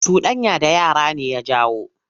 Cuɗanya da yara ne ya jawo.